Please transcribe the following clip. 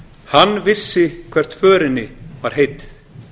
hann vissi hvert förinni var heitið